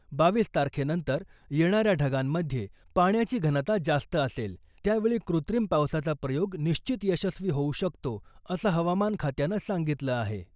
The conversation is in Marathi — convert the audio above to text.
बावीस तारखेनंतर येणाऱ्या ढगांमध्ये पाण्याची घनता जास्त असेल, त्यावेळी कृत्रिम पावसाचा प्रयोग निश्चित यशस्वी होऊ शकतो, असं हवामान खात्यानं सांगितलं आहे.